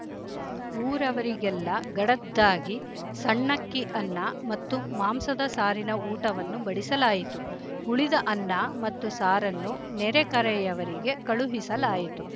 ಊರವರಿಗೆಲ್ಲ ಗಡದ್ದಾಗಿ ಸಣ್ಣಕ್ಕಿ ಅನ್ನ ಮತ್ತು ಮಾಂಸದ ಸಾರಿನ ಊಟವನ್ನು ಬಡಿಸಲಾಯಿತು ಉಳಿದ ಅನ್ನ ಮತ್ತು ಸಾರನ್ನು ನೆರೆಕರೆಯವರಿಗೆ ಕಳುಹಿಸಲಾಯಿತು